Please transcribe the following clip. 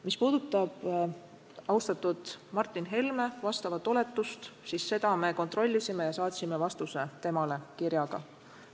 Mis puudutab austatud Martin Helme oletust, siis seda me kontrollisime ja saatsime temale kirjaliku vastuse.